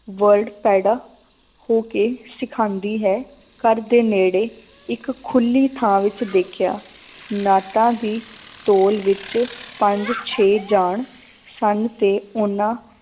Word ਪੈਦਾ ਹੋ ਕੇ ਸਿਖਾਉਂਦੀ ਹੈ ਘਰਦੇ ਨੇੜੇ ਇੱਕ ਖੁੱਲੀ ਥਾਂ ਵਿੱਚ ਦੇਖਿਆ ਨਾਟਾਂ ਦੀ ਤੋਲ ਵਿੱਚ ਪੰਜ ਛੇ ਜਾਣ ਸਨ ਤੇ ਉਹਨਾਂ